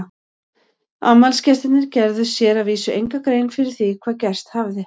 Afmælisgestirnir gerðu sér að vísu enga grein fyrir því hvað gerst hafði.